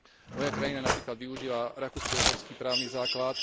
Moja krajina napríklad využíva rakúsko uhorský právny základ.